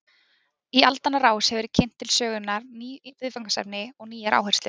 Í aldanna rás hafa verið kynnt til sögunnar ný viðfangsefni og nýjar áherslur.